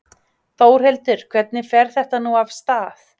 Þórhildur, hvernig fer þetta nú af stað?